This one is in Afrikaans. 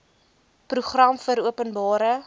program vir openbare